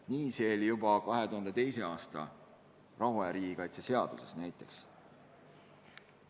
Nii see 2002. aasta rahuaja riigikaitse seaduses oli.